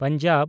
Punjab